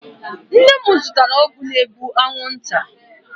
Nna m zụtara ọgwụ na-egbu anwụ nta.